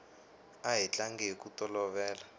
a hi tlanga hiku tolovela